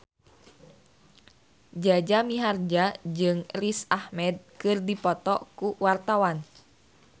Jaja Mihardja jeung Riz Ahmed keur dipoto ku wartawan